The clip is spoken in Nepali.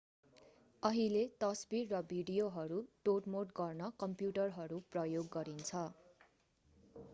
अहिले तस्बिर र भिडियोहरू तोडमोड गर्न कम्प्युटरहरू प्रयोग गरिन्छ